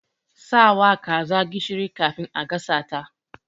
Sawa kazar gishiri kafin a gasa ta.